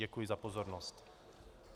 Děkuji za pozornost.